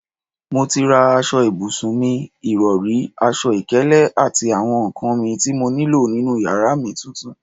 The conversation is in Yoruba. Mo ti rà aṣọ ibùsùn mi, ìrọri, aṣọ ìkélé àti àwọn nkan mì tí mo nílò nínú yàrá mi titun